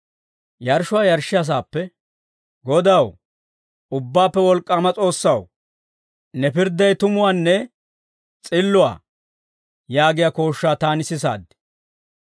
Yarshshuwaa yarshshiyaa saappe, «Godaw, Ubbaappe Wolk'k'aama S'oossaw, ne pirdday tumuwaanne s'illuwaa!» yaagiyaa kooshshaa taani sisaad.